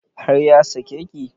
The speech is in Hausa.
Har ya sake ki?